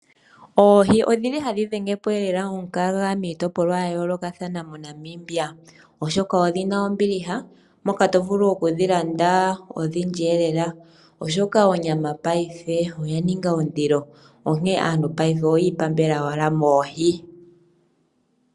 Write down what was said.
Oohi odhili lela hadhi dhengepo omukaga miitopolwa ya yoolokathana moNamibia, oshoka odhina ombiliha moka to vulu oku dhilanda odhindji lela oshoka onyama paife oyaninga ondilo onkee aantu paife oyii tula owala moohi.